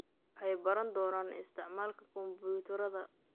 Waxay baran doonaan isticmaalka kombuyuutarrada.